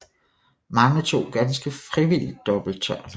Mange tog ganske frivilligt dobbelt tørn